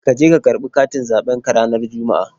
Ka je ka karɓi katin zaɓen ka ranar Juma'a.!